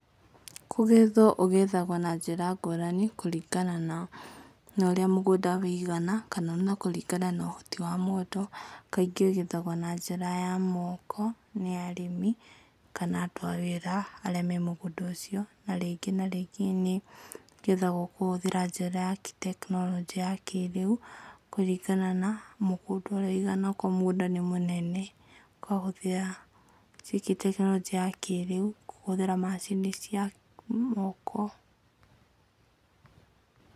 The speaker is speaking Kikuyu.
Kũgethwo ũgethaga na njĩra ngũrani kũringana na ũrĩa mũgũnda ũigana, kana na kũringana na ũhoti wa mũndũ, kaingĩ ũgethagwo na njĩra ya moko, nĩ arĩmi, kana andũ a wĩra arĩa me mũgũnda ũcio, na rĩngĩ na rĩngĩ, nĩgetha gũkũkũhũthĩra njĩra ya gĩtekinoronjĩ ya kĩrĩu, kũringana na mũgũnda ũrĩa ũigana okorwo mũgũnda nĩ mũnene, kũhũthĩra tekinoronjĩ ya kĩrĩu, kũhũthĩra macini cia moko.